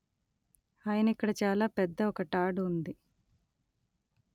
ఆయన ఇక్కడ చాలా పెద్ద ఒక టాడ్ ఉంది